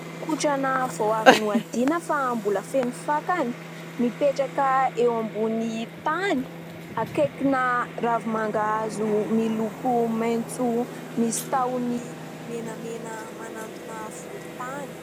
Kotrana vao avy nohadiana fa mbola feno fakany, mipetraka eo ambony tany akaikina ravimangahazo miloko maitso misy tahony menamena manantona volontany.